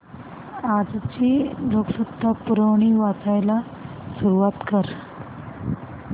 आजची लोकसत्ता पुरवणी वाचायला सुरुवात कर